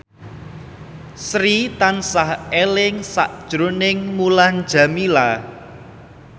Sri tansah eling sakjroning Mulan Jameela